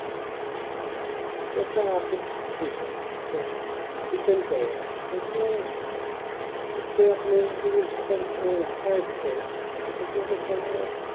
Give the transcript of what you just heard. এটা একটা আপেক্ষিক বিষয় যে করা যাই and coaching কুটে আপনি যদি ঢাকা এ ঢাকাই থেকেন তাহলে coaching করতে আপনার